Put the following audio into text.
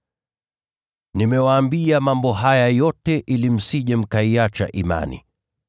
“Nimewaambia mambo haya yote ili msije mkaiacha imani.